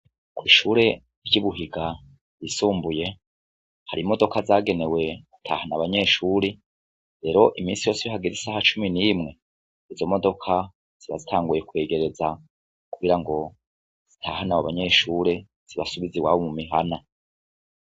Kw'ishure ry'ibuhiga ryisumbuye hari imodoka zagenewe gutahana abanyeshure ,rero imisi yose iyo hageze isaha cumi n'imwe ,izo modoka ziba zitanguye kwegereza kugira ngo zitahane abo banyeshure zibasubize iwabo mu mihana.